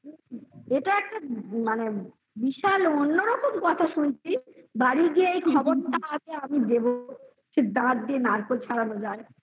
এটা একটা মানে বিশাল অন্যরকম কথা শুনছি বাড়ি গিয়ে এই খবরটা আমি দেবো দাঁত দিয়ে নারকোল ছড়ানো যায়